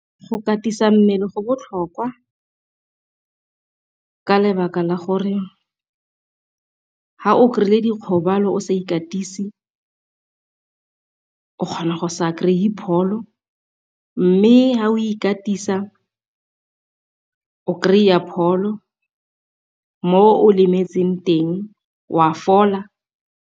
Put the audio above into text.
Go katisa mmele go botlhokwa ka lebaka la gore fa o kry-ile dikgobalo o sa ikatisi of kgona go sa kry-e pholo. Mme fa o ikatisa o kry-a pholo mo o lemetseng teng o a fola.